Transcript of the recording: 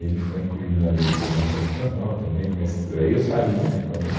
Ele foi incluído na Lei de Segurança Nacional também, mas aí eu saí, né, quando eu